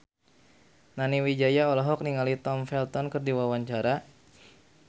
Nani Wijaya olohok ningali Tom Felton keur diwawancara